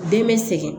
Den be sɛgɛn